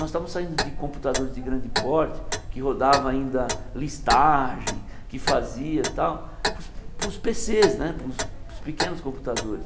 Nós estávamos saindo de computadores de grande porte, que rodava ainda listagem, que fazia tal, para os para os pê cês né, para os para os pequenos computadores.